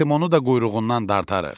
Artimonu da quyruğundan dartarıq.